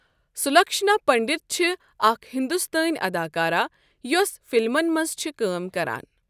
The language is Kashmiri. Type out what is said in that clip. سلکھشنا پنڈت چھِ اَکھ ہِندوستٲنؠ اَداکارہ یۄس فِلمَن مَنٛز چھِ کٲم کَران.